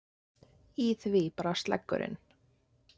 Í því brast leggurinn.